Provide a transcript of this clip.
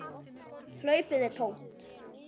Hlaupið er tómt.